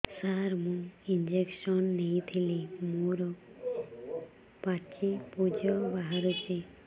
ସାର ମୁଁ ଇଂଜେକସନ ନେଇଥିଲି ମୋରୋ ପାଚି ପୂଜ ବାହାରୁଚି